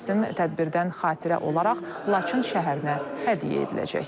Rəsm tədbirdən xatirə olaraq Laçın şəhərinə hədiyyə ediləcək.